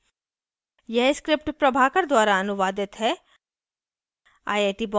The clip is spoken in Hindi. यह script प्रभाकर द्वारा अनुवादित है